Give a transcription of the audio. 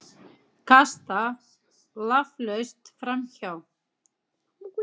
Kasta laflaust framhjá.